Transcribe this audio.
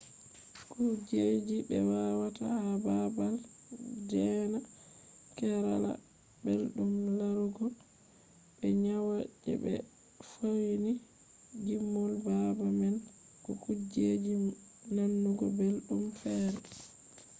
kujeji be watta ha baabal deena kerala belɗum larugo be nyiwa je be fauni gimol baabal man ko kujeji nanugo belɗum feere